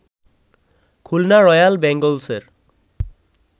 Khulna royal বেঙ্গলসের